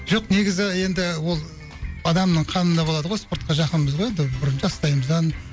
жоқ негізі енді ол адамның қанында болады ғой спортқа жақынбыз ғой енді бұрын жастайымыздан